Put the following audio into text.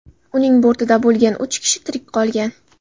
Uning bortida bo‘lgan uch kishi tirik qolgan.